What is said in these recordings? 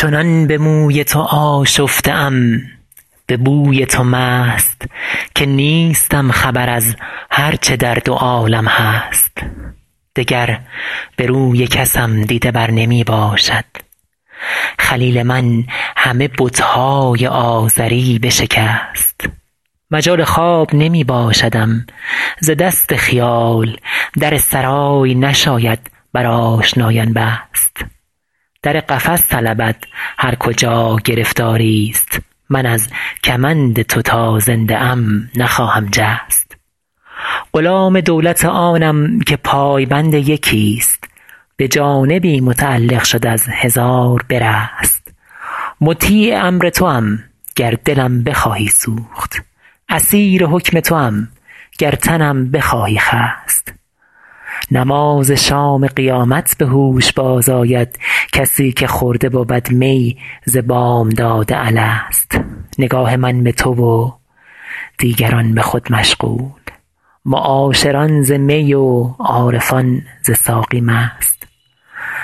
چنان به موی تو آشفته ام به بوی تو مست که نیستم خبر از هر چه در دو عالم هست دگر به روی کسم دیده بر نمی باشد خلیل من همه بت های آزری بشکست مجال خواب نمی باشدم ز دست خیال در سرای نشاید بر آشنایان بست در قفس طلبد هر کجا گرفتاری ست من از کمند تو تا زنده ام نخواهم جست غلام دولت آنم که پای بند یکی ست به جانبی متعلق شد از هزار برست مطیع امر توام گر دلم بخواهی سوخت اسیر حکم توام گر تنم بخواهی خست نماز شام قیامت به هوش باز آید کسی که خورده بود می ز بامداد الست نگاه من به تو و دیگران به خود مشغول معاشران ز می و عارفان ز ساقی مست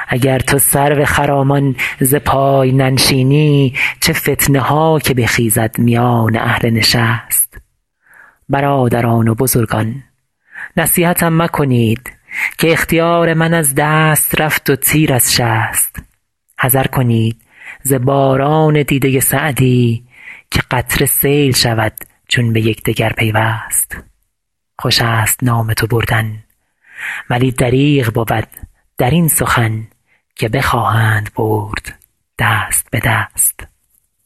اگر تو سرو خرامان ز پای ننشینی چه فتنه ها که بخیزد میان اهل نشست برادران و بزرگان نصیحتم مکنید که اختیار من از دست رفت و تیر از شست حذر کنید ز باران دیده سعدی که قطره سیل شود چون به یکدگر پیوست خوش است نام تو بردن ولی دریغ بود در این سخن که بخواهند برد دست به دست